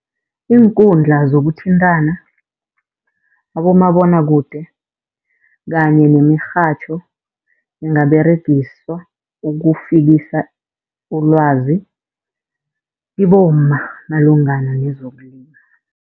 Iinkundla zokuthintana, abomabonwakude kanye nemirhatjho ingaberegiswa ukufikisa ulwazi kibomma malungana nezokulima.